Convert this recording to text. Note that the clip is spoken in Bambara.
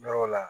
Yɔrɔw la